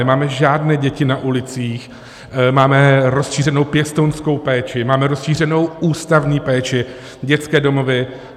Nemáme žádné děti na ulicích, máme rozšířenou pěstounskou péči, máme rozšířenou ústavní péči, dětské domovy.